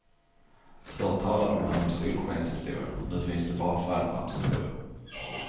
Förr talade man om solskenshistorier, nu finns det bara fallskärmshistorier.